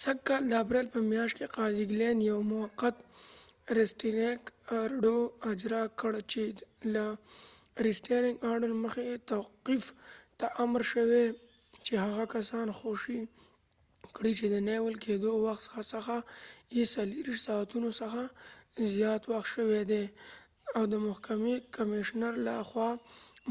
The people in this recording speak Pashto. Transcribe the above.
سږ کال د اپریل په میاشت کې قاضی ګلین یو موقت ریسټینینګ ارډر restaining order اجرا کړ چې له مخی یې توقیف ته امر شوي چې هغه کسان خوشي کړي چې د نیول کېدو د وخت څخه یې 24 ساعتونو څخه زیات وخت شوي دي .او د محکمی کمیشنر له خوا